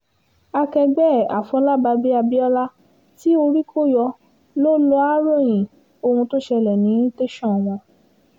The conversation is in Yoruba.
akẹgbẹ́ ẹ̀ àfọlábàbí abiola tí orí kọ yọ ló lọá ròyìn ohun tó ṣẹlẹ̀ ní tẹ̀sán wọn